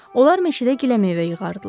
Onlar meşədə giləmeyvə yığardılar.